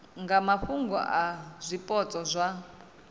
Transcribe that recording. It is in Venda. nga mafhungo a zwipotso zwa